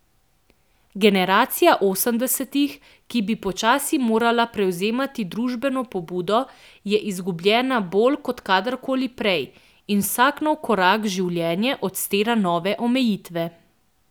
Generacija osemdesetih, ki bi počasi morala prevzemati družbeno pobudo, je izgubljena bolj kot kadarkoli prej in vsak nov korak v življenje odstira nove omejitve.